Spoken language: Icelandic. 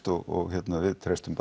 og við treystum